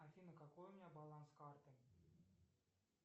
афина какой у меня баланс карты